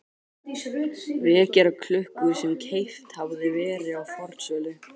vekjaraklukku sem keypt hafði verið á fornsölu.